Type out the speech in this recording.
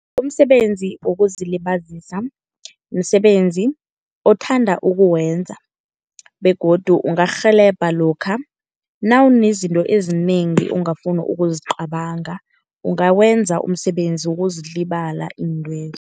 Umsebenzi wokuzilibazisa, msebenzi othanda ukuwenza begodu ungakurhelebha lokha nawunezinto ezinengi ongafuni ukuzicabanga. Ungawenza umsebenzi wokuzilibala intwezo.